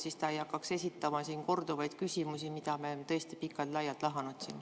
Siis ta ei hakkaks esitama korduvaid küsimusi, mida me oleme siin tõesti pikalt-laialt lahanud.